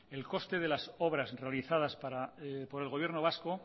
el coste de las obras realizadas por el gobierno vasco